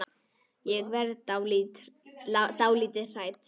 Ég verð dálítið hrædd.